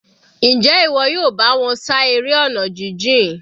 Njẹ́ ìwọ yóò bá wọn ṣá eré ọ̀nà jijìn?